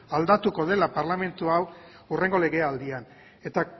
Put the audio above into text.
aldatuko dela parlamentu hau hurrengo legealdian eta